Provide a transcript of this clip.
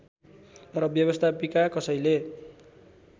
र व्यवस्थापिका कसैले